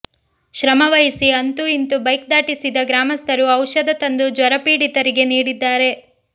ಶ್ರಮ ವಹಿಸಿ ಅಂತೂ ಇಂತೂ ಬೈಕ್ ದಾಟಿಸಿದ ಗ್ರಾಮಸ್ಥರು ಔಷಧ ತಂದು ಜ್ವರಪೀಡಿತರಿಗೆ ನೀಡಿದ್ದಾರೆ